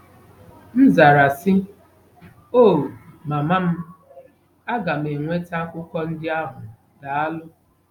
M zara, sị, " Oh, mama m, a ga m enweta akwụkwọ ndị ahụ daalụ.